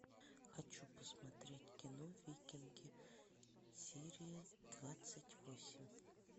хочу посмотреть кино викинги серия двадцать восемь